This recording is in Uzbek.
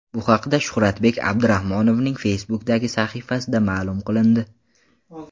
Bu haqda Shuhratbek Abdurahmonovning Facebook’dagi sahifasida ma’lum qilindi .